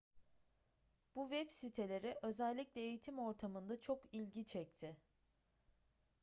bu web siteleri özellikle eğitim ortamında çok ilgi çekti